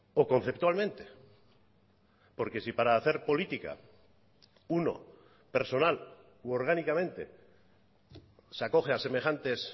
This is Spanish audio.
o conceptualmente porque si para hacer política uno personal u orgánicamente se acoge a semejantes